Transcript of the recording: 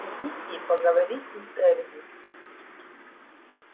идите и поговорите с эрби